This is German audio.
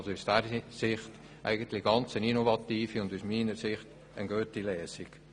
Aus dieser Sicht ist es eine innovative und gute Lösung.